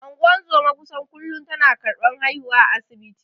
Ungozoma kusan kullun tana karban haihuwa asibiti.